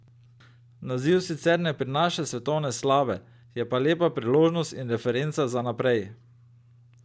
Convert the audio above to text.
Naziv sicer ne prinaša svetovne slave, je pa lepa priložnost in referenca za naprej.